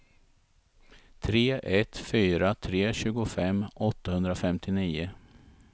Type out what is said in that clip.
tre ett fyra tre tjugofem åttahundrafemtionio